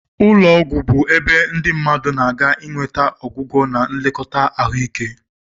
Ụlọ ọgwụ bụ ebe ndị mmadụ na-aga inweta ọgwụgwọ na nlekọta ahụike.